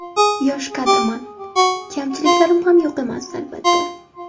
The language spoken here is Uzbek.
Yosh kadrman, kamchiliklarim ham yo‘q emas, albatta.